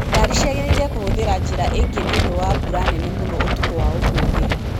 ngari cĩagĩriĩre kũhũthĩra njĩra ingĩ nĩ ũndũ wa mbura nene mũno ũtukũ wa ũmũthĩ